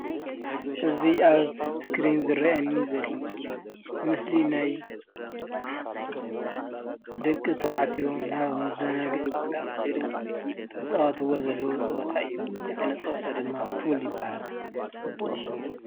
እዚ ኣብ እስክሪን ዝረኣየኒ ዘሎ ምስሊ ምስሊ ናይ ደቂ ተባዕትዮ ናብ መዘናግዒ ቦታ ከይዶም ዝፃወትዎ ዘለዉ ፀወታ እዩ። እዚ ዓይነት ፀወታ ድማ ፑል ይበሃል።